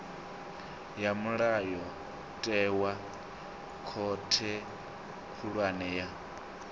ya mulayotewa khothe khulwane ya